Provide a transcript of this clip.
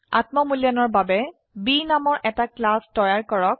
আত্ম মূল্যায়নৰ বাবে B নামৰ এটা ক্লাস তৈয়াৰ কৰক